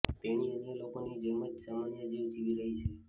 તેણી અન્ય લોકોની જેમ જ સામાન્ય જીવ જીવી રહી છે